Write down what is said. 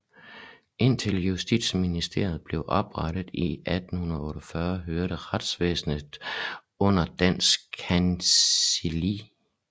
Indtil Justitsministeriet blev oprettet i 1848 hørte retsvæsenet under Danske Kancelli